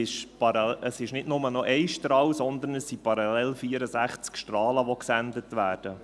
Es ist nicht nur noch Strahl, sondern es sind parallel 64 Strahlen, die gesendet werden.